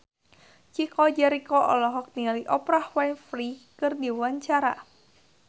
Chico Jericho olohok ningali Oprah Winfrey keur diwawancara